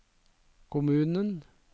kommunen